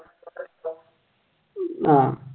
ആഹ്